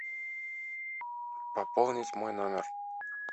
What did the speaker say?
пополнить мой номер